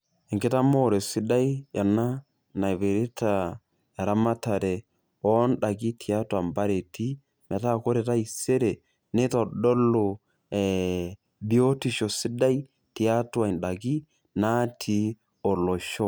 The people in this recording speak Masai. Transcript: Enkitamoore sidai ena, naipirta eramatare oondaiki tiatua mpareti, metaa kore taisere neitodolu biotisho sidai tiatua ndaiki natii olosho.